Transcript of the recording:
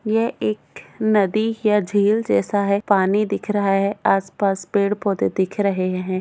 यह एक नदी या झील जैसा है पानी दिख रहा है आसपास पेड़ पौधे दिख रहे है।